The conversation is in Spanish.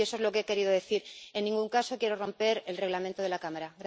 Eso es lo que he querido decir, en ningún caso quiero romper el Reglamento de la Cámara.